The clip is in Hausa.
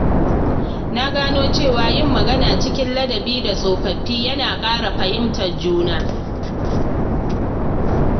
Na gano cewa yin magana cikin ladabi da tsofaffi yana ƙara fahimtar juna.